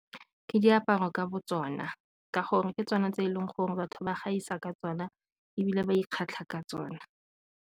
Ke diaparo ka botsona ka gore ke tsona tse e leng gore batho ba gaisa ka tsona ebile ba ikgatlha ka tsona.